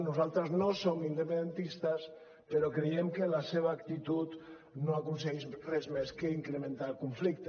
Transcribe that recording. nosaltres no som independentistes però creiem que la seva actitud no aconsegueix res més que incrementar el conflicte